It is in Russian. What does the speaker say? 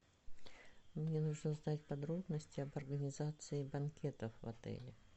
мне нужно знать подробности об организации банкетов в отеле